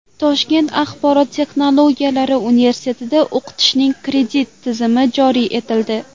Toshkent axborot texnologiyalari universitetida o‘qitishning kredit tizimi joriy etildi.